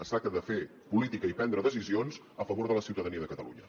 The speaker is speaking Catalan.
es tracta de fer política i prendre decisions a favor de la ciutadania de catalunya